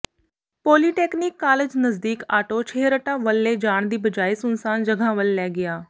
polytechnic college ਨਜ਼ਦੀਕ auto Chheharta ਵੱਲ ਲੈ ਜਾਣ ਦੀ ਬਜਾਏ ਸੁੰਨਸਾਨ ਜਗ੍ਹਾ ਵੱਲ ਲੈ ਗਿਆ